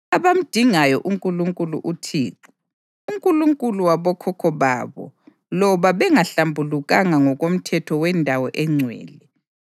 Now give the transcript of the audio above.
abamdingayo uNkulunkulu uThixo, uNkulunkulu wabokhokho babo loba bengahlambulukanga ngokomthetho wendawo engcwele.”